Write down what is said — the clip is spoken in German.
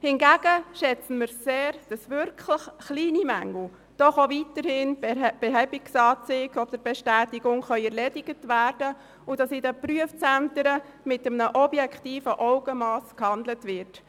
Hingegen schätzen wir sehr, dass wirklich kleine Mängel durch eine Behebungsbestätigung erledigt werden können und in den Prüfzentren mit einem objektiven Augenmass gehandelt wird.